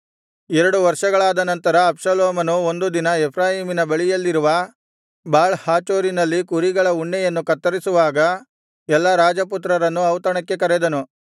ಎರಡು ವರ್ಷಗಳಾದ ನಂತರ ಅಬ್ಷಾಲೋಮನು ಒಂದು ದಿನ ಎಫ್ರಾಯೀಮಿನ ಬಳಿಯಲ್ಲಿರುವ ಬಾಳ್ ಹಾಚೋರಿನಲ್ಲಿ ಕುರಿಗಳ ಉಣ್ಣೆಯನ್ನು ಕತ್ತರಿಸುವಾಗ ಎಲ್ಲಾ ರಾಜಪುತ್ರರನ್ನು ಔತಣಕ್ಕೆ ಕರೆದನು